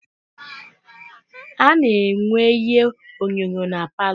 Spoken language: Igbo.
A na-enwe ihe onyonyo na paalọ.